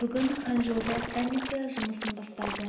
бүгін ханчжоуда саммиті жұмысын бастады